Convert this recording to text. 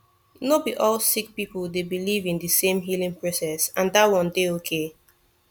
no be all sik pipul dey biliv in di sem healing process and dat one dey okay